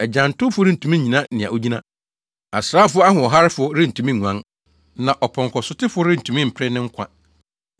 Agyantowfo rentumi nnyina nea ogyina. Asraafo ahoɔharefo rentumi nguan, na ɔpɔnkɔsotefo rentumi mpere ne nkwa.